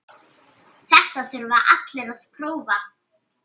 Þetta þurfa allir að prófa.